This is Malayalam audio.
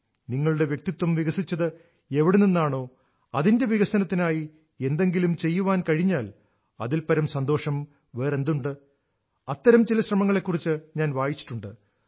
നിങ്ങളുടെ വ്യക്തിത്വം വികസിച്ചത് എവിടെ നിന്നാണോ അതിന്റെ വികസനത്തിനായി എന്തെങ്ങിലും ചെയ്യാൻ കഴിഞ്ഞാൽ അതിൽപരം സന്തോഷം വേറെന്തുണ്ട് അത്തരം ചില ശ്രമങ്ങളെക്കുറിച്ച് ഞാൻ വായിച്ചിട്ടുണ്ട്